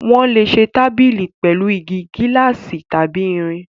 Wọ́n lè ṣe tábìlì pẹ̀lú igi, gíláàsì tàbí irin.